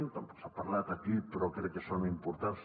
tampoc se n’ha parlat aquí però crec que són importants